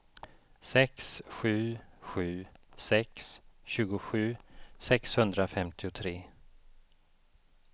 sex sju sju sex tjugosju sexhundrafemtiotre